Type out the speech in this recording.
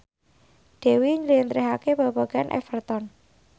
Dewi njlentrehake babagan Everton